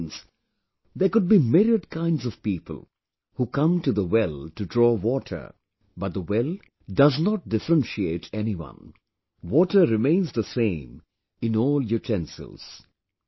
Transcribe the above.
Which means There could be myriad kinds of people who come to the well to draw water...But the well does not differentiate anyone...water remains the same in all utensils